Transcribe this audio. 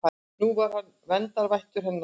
Nú var hann verndarvættur hennar.